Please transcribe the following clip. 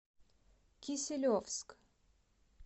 киселевск